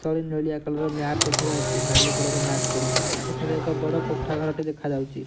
ତଳେ ନେଳିଆ colour mat ଦେଖା ଯାଉଚି। ନାଲି କଲର ମ୍ୟାଟ ପଡିଚି। ଏଠାରେ ଏକ ବଡ଼ କୋଠା ଘର ଟେ ଦେଖା ଯାଉଚି।